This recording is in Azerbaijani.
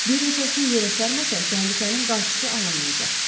Bir neçəsini yerə sərməsək təhlükənin qarşısı alınmayacaq.